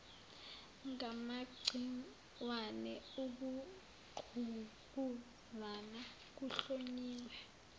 ngamagciwane ukungqubuzana kuhlonyiwe